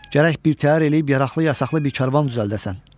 Gərək birtəhər eləyib yaraqlı-yasaqlı bir karvan düzəldəsən.